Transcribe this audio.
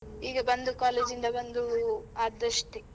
ಈಗ ಬಂದು ಬಂದು ಆದದ್ದು ಅಷ್ಟೇ.